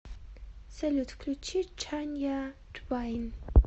салют включи чанья твайн